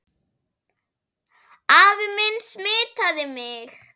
Afi minn smitaði mig.